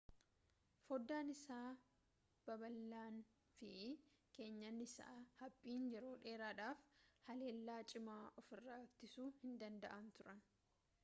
foddaan isaa babal'aanii fi keenyan isaa haphiin yeroo dheeraadhaaf haleellaa cimaa ofirraa ittisuu hindanda'an turan